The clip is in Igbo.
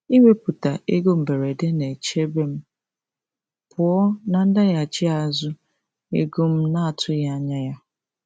Iwepụta ego mberede na-echebe m pụọ na ndaghachi azụ ego m na-atụghị anya ya.